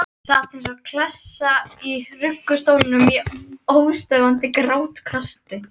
Sat eins og klessa í ruggustólnum í óstöðvandi grátkasti.